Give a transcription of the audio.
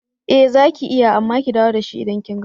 Ee zaki iya amma ki dawo dashi idan kin gama.